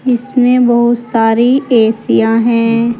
इसमें बहुत सारी एसीयां है।